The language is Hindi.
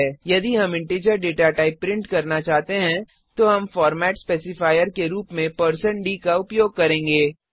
यदि हम इंटीजर डेटा टाइप प्रिंट करना चाहते हैं तो हम फॉरमेट स्पेसिफायर के रूप में160 डी का उपयोग करेंगे